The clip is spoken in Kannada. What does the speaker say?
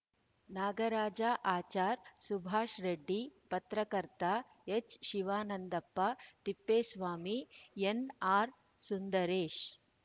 ನಾಗರಾಜ ಅಚಾರ್‌ ಸುಭಾಷ್‌ ರೆಡ್ಡಿ ಪತ್ರಕರ್ತ ಎಚ್‌ಶಿವಾನಂದಪ್ಪ ತಿಪ್ಪೇಸ್ವಾಮಿ ಎನ್‌ಆರ್‌ ಸುಂದರೇಶ್‌